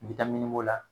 N bɛ taa miniko la